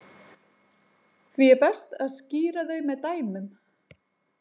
Því er best að skýra þau með dæmum.